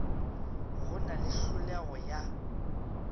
go na le tlholego ya